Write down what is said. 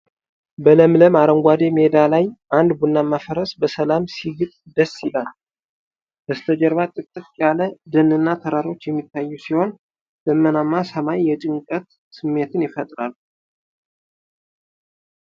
በለምለም አረንጓዴ ሜዳ ላይ አንድ ቡናማ ፈረስ በሰላም ሲግጥ ደስ ይላል። በስተጀርባ ጥቅጥቅ ያለ ደንና ተራሮች የሚታዩ ሲሆን፣ ደመናማ ሰማይ የጭንቀት ስሜትን ይፈጥራል።